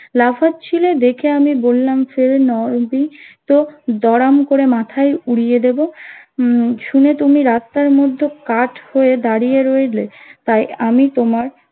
লাফাচ্ছিলে দেখে আমি বললাম তো দড়াম করে মাথায় উড়িয়ে দেবো উম শুনে তুমি রাস্তার মধ্যে কাঠ হয়ে দাঁড়িয়ে রইলে তাই আমি তোমার